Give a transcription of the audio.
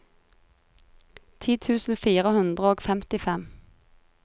ti tusen fire hundre og femtifem